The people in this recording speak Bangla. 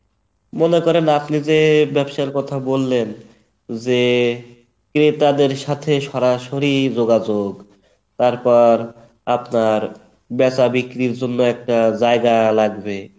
মনে করেন আপ্নে যে ব্যবসার কথা বললেন যে ক্রেতাদের সাথে সরাসরি যোগাযোগ তারপর আপনার বেচা বিক্রির জন্য একটা জায়গা লাগবে